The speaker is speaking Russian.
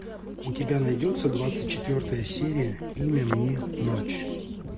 у тебя найдется двадцать четвертая серия имя мне ночь